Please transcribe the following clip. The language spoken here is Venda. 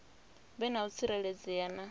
vhe na u tsireledzea na